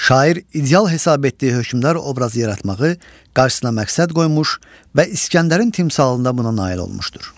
Şair ideal hesab etdiyi hökmdar obrazı yaratmağı qarşısına məqsəd qoymuş və İsgəndərin timsalında buna nail olmuşdur.